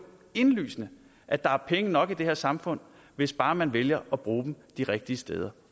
indlysende at der er penge nok i det her samfund hvis bare man vælger at bruge dem de rigtige steder